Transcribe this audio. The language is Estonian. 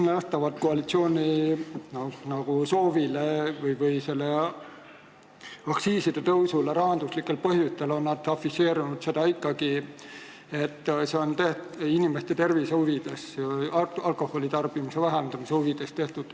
Vaatamata koalitsiooni silmanähtavale soovile tõsta aktsiise rahanduslikel põhjustel, on nad afišeerinud ikkagi seda, et see on tehtud inimeste tervise huvides, alkoholitarbimise vähendamise huvides.